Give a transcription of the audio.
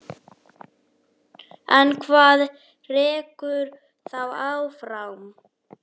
En hvað rekur þá áfram?